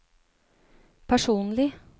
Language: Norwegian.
personlig